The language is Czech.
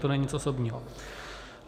To není nic osobního.